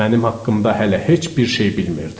Mənim haqqımda hələ heç bir şey bilmirdi.